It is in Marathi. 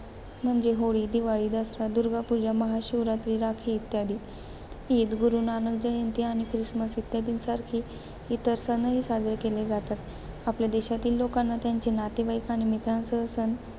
म्हणजे होळी, दिवाळी, दसरा, दुर्गा पूजा, महाशिवरात्रि, राखी इत्यादी. ईद, गुरु नानक जयंती आणि ख्रिसमस इत्यादीसारखे इतर सणही साजरे केले जातात. आपल्या देशातील लोकांना त्यांचे नातेवाईक आणि मित्रांसह सण,